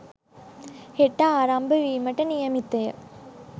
හෙට ආරම්භ වීමට නියමිතය.